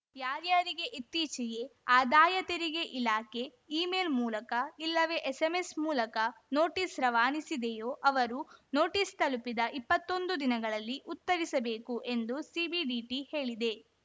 ಯಾರಾರ‍ಯರಿಗೆ ಇತ್ತೀಚೆಗೆ ಆದಾಯ ತೆರಿಗೆ ಇಲಾಖೆ ಇ ಮೇಲ್‌ ಮೂಲಕ ಇಲ್ಲವೇ ಎಸ್‌ಎಂಎಸ್‌ ಮೂಲಕ ನೋಟಿಸ್‌ ರವಾನಿಸಿದೆಯೋ ಅವರು ನೋಟಿಸ್‌ ತಲುಪಿದ ಇಪ್ಪತ್ತೊಂದು ದಿನಗಳಲ್ಲಿ ಉತ್ತರಿಸಬೇಕು ಎಂದು ಸಿಬಿಡಿಟಿ ಹೇಳಿದೆ